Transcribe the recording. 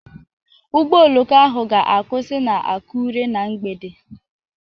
Ụgbọ oloko ahụ ga-akwụsị na Akure na mgbede